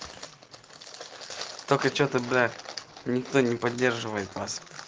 только что-то блять никто не поддерживает вас